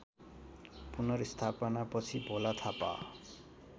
पुनर्स्थापनापछि Bhola Thapa